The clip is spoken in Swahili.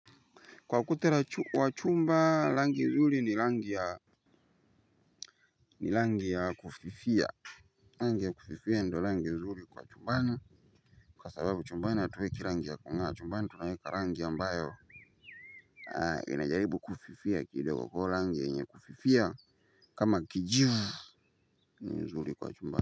Kwa ukuta wa chumba rangi nzuri ni rangi ya ni rangi ya kufifia rangi ya kufifia ndio rangi nzuri kwa chumbani kwa sababu chumbani hatuweki rangi ya kung'aa chumbani tunaweka rangi ambayo inajaribu kufifia kidogo kwa hivo rangi yenye kufifia kama kijivu ni nzuri kwa chumbani.